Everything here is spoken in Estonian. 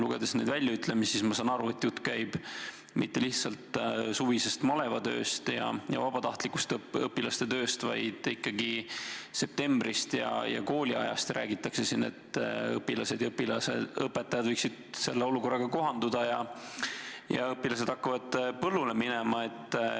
Lugedes neid väljaütlemisi, saan ma aru, et jutt ei käi mitte lihtsalt suvisest malevatööst või vabatahtlikust tööst, vaid siin räägitakse ikkagi septembrist ja kooliajast – sellest, et õpilased ja õpetajad võiksid olukorraga kohaneda ja õpilased hakkaksid põllule minema.